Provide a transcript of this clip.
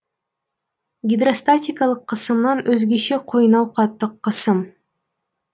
гидростатикалық қысымнан өзгеше қойнауқаттық қысым